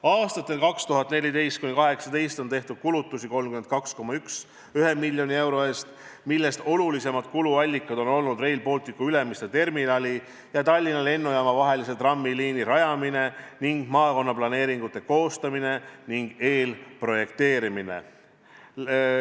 Aastatel 2014–2018 on tehtud kulutusi 32,1 miljoni euro eest, millest olulisemad kuluallikad on olnud Rail Balticu Ülemiste terminali ja Tallinna Lennujaama vahelise trammiliini rajamine ning maakonnaplaneeringute koostamine ja eelprojekteerimine.